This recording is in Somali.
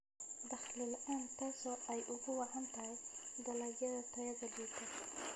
Dakhli la'aan taasoo ay ugu wacan tahay dalagyada tayada liita.